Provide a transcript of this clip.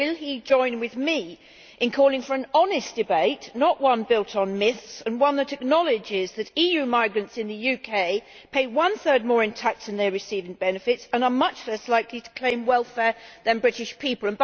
Will he join with me in calling for an honest debate, not one built on myths, and one that acknowledges that EU migrants in the UK pay one third more in tax than they receive in benefits and are much less likely to claim welfare than British people?